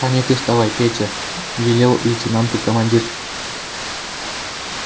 понятых давай петя велел лейтенанту командир